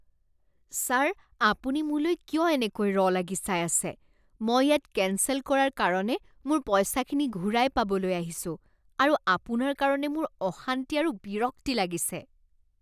Sir আপুনি মোলৈ কিয় এনেকৈ ৰ লাগি চাই আছে? মই ইয়াত কেঞ্চেল কৰাৰ কাৰণে মোৰ পইচাখিনি ঘূৰাই পাবলৈ আহিছো আৰু আপোনাৰ কাৰণে মোৰ অশান্তি আৰু বিৰক্তি লাগিছে।